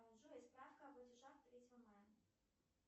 джой справка о платежах третьего мая